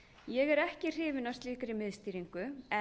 ég er ekki hrifin af slíkri miðstýringu en